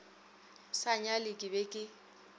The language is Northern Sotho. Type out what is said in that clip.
sa nyale ke be ke